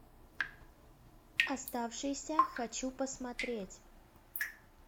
оставшиеся хочу посмотреть